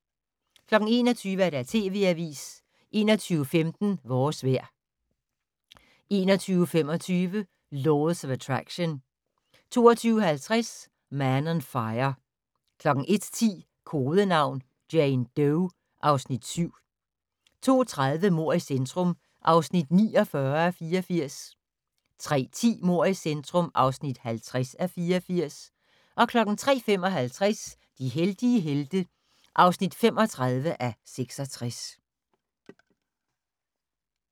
21:00: TV Avisen 21:15: Vores vejr 21:25: Laws of Attraction 22:50: Man on Fire 01:10: Kodenavn: Jane Doe (Afs. 7) 02:30: Mord i centrum (49:84) 03:10: Mord i centrum (50:84) 03:55: De heldige helte (35:66)